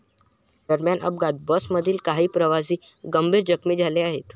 दरम्यान अपघातात बसमधील काही प्रवासी गंभीर जखमी झाले आहेत.